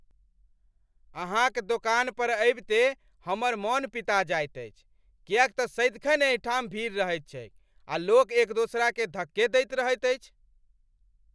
अहाँक दोकान पर अबिते हमर मन पिता जाइत अछि किएक तँ सदिखन एहिठाम भीड़ रहैत छैक आ लोक एक दोसराकेँ धक्के दैत रहैत अछि।